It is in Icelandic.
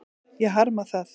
Ég harma það.